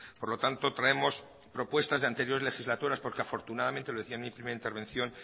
por lo tanto traemos propuestas de anteriores legislaturas porque afortunadamente lo decía en mi primera intervención